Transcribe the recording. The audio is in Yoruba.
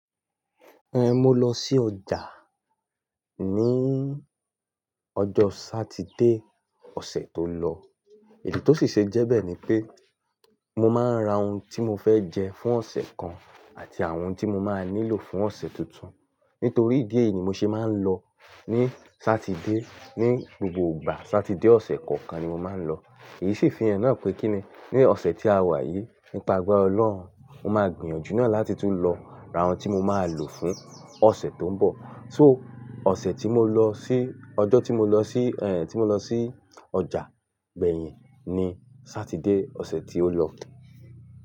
Ẹn, mo lọ sí ọjà níí ọjọ́ Sátidé ọ̀sẹ̀ tó lọ. Èyí tó sì ṣe jẹ́ bẹ́ẹ̀ ni pé mo máa ń ra ohun tí mo fẹ́ jẹ fún ọ̀sẹ̀ kan àti àwọn ohun tí mo máa nílò fún ọ̀sẹ̀ tuntun. Nítorí idí ẹ̀yi ni mo ṣe máa ń lọ ní Sátidé. Ní gbogbo ìgbà Sátidé ọ̀sẹ̀ kọ̀ọ̀kan ni mo máa ń lọ. Èyí sì fihan na pé kí ni? Ní ọ̀sẹ̀ tí a wà yìí, nípa agbára Ọlọ́run, mo máa gbìyànjú náà láti tún lọ ra ohun tí mo máa lò fún ọ̀sẹ̀ tó ń bọ̀. So ọ̀sẹ̀ tí mo lọ sí-- ọjọ́ tí mo lọ sí, ẹhn, tí mo lọ sí ọjà gbẹ̀yìn ni Sátidé ọ̀sẹ̀ tí ó lọ.